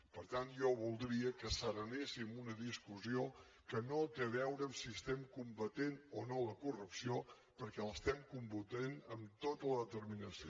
per tant jo voldria que asserenéssim una discussió que no té a veure amb si estem combatent o no la corrupció perquè l’estem combatent amb tota la determinació